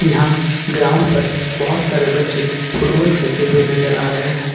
Ground पर बहुत सारे बच्चे फुटबॉल खेलते हुए नजर आ रहे हैं।